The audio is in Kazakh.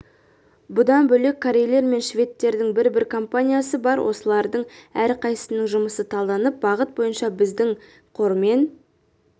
бұдан бөлек корейлер мен шведтердің бір-бір компаниясы бар осылардың әрқайсысының жұмысы талданып бағыт бойынша біздің қормен